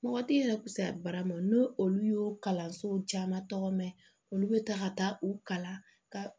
Mɔgɔ tɛ yɛrɛ kusaya barama n'o olu y'o kalanso caman tɔgɔ mɛn olu bɛ taa ka taa u kalan ka